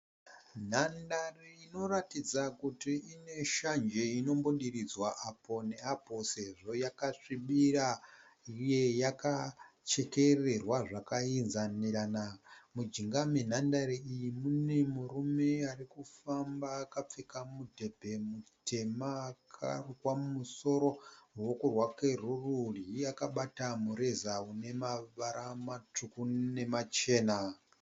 Nhandare inoratidza kuti ine shanje inombodiridzwa apo neapo sezvo yakasvibira uye yakachekererwa zvakainzanirana. Mujinga menhandare iyi mune murume ari kufamba akapfeka mudhebhe mutema akarukwa mumusoro. Ruoko rwake rworudyi akabata mureza une mavara matsvuku nemachena.